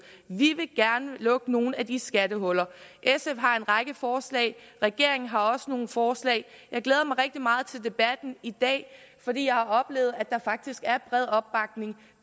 vi vil gerne lukke nogle af de skattehuller sf har en række forslag regeringen har også nogle forslag jeg glæder mig rigtig meget til debatten i dag fordi jeg har oplevet at der faktisk er bred opbakning